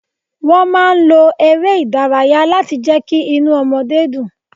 Wọ́n máa ń lo ère ìdárayá láti jẹ kí inú ọmọdé dùn.